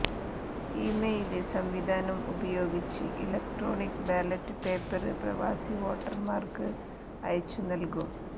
email സംവിധാനം ഉപയോഗിച്ച് electronic ballot paper പ്രവാസിവോട്ടര്മാര്ക്ക് അയച്ചു നല്കും